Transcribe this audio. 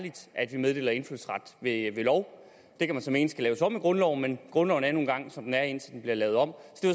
vi meddeler indfødsret ved lov det kan man så mene skal laves om i grundloven men grundloven er nu engang som den er indtil den bliver lavet om